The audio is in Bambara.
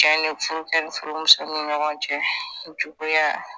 furukɛ ni furumuso ni ɲɔgɔn cɛ juguya.